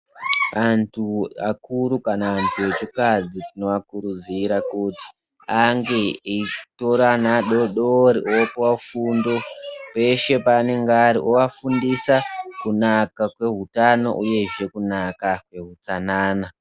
Antu akuru kana antu echikadzi tinoakurudzira kuti ange eitora ana adodori opuwa fundo peshe paanenge Ari oafundisa kunaka kweutano uyezve kunaka kwehutsanana.